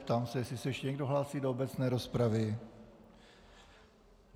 Ptám se, jestli se ještě někdo hlásí do obecné rozpravy.